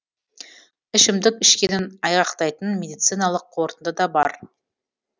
ішімдік ішкенін айғақтайтын медициналық қорытынды да бар